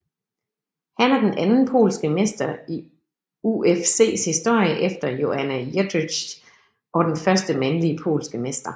Han er den anden polske mester i UFCs historie efter Joanna Jędrzejczyk og den første mandlige polske mester